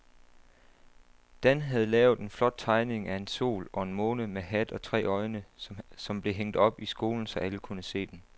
Dan havde lavet en flot tegning af en sol og en måne med hat og tre øjne, som blev hængt op i skolen, så alle kunne se den.